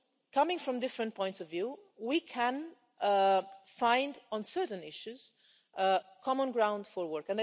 Coming from different points of view, we can on certain issues find common ground for work.